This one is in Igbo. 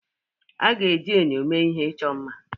A ga-eji enyo mee ihe ịchọ mma.